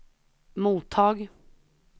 mottag